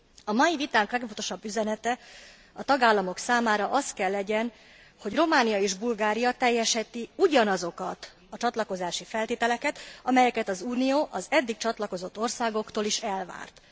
A mai vitánk legfontosabb üzenete a tagállamok számára az kell legyen, hogy Románia és Bulgária teljesíti ugyanazokat a csatlakozási feltételeket, amelyet az Unió az eddig csatlakozott országoktól is elvárt.